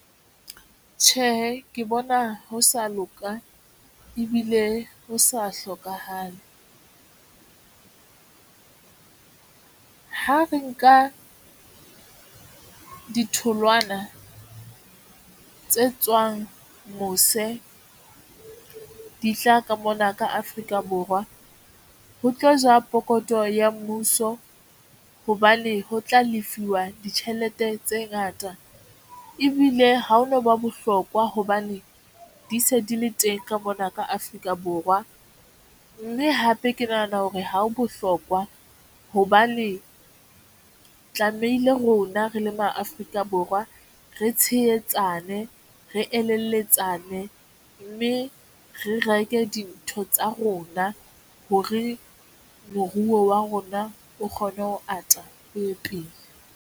Tjhe, ke bona ho sa loka ebile ho sa hlokahale. Ha re nka ditholwana tse tswang mose di tla ka mona ka Afrika Borwa ho tlo ja pokotho ya mmuso hobane ho tla lefuwa ditjhelete tse ngata ebile ha hono ba bohlokwa hobane di se di le teng ka mona ka Afrika Borwa. Mme hape ke nahana hore ha ho bohlokwa hobane tlamehile rona re le ma Afrika Borwa re tshehetsane, re eletsane mme re reke dintho tsa rona hore moruo wa rona o kgone ho ata o ye pele.